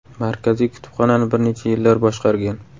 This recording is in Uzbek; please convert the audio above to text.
Markaziy kutubxonani bir necha yillar boshqargan.